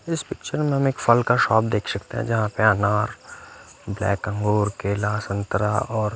इस पिक्चर में हम एक फल का शॉप देख सकते हैं जहां पे अनार ब्लैक अंगूर केला संतरा और--